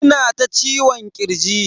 Ina ta ciwon kirji.